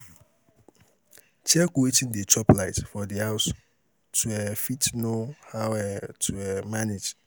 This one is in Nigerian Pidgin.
Check wetin dey chop light for di house to um fit know how um to um manage